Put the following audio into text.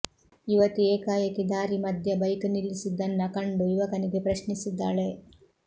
ಯುವತಿ ಏಕಾಏಕಿ ದಾರಿ ಮಧ್ಯ ಬೈಕ್ ನಿಲ್ಲಿಸಿದ್ದನ್ನ ಕಂಡು ಯುವಕನಿಗೆ ಪ್ರಶ್ನಿಸಿದ್ದಾಳೆ